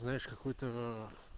знаешь какую-то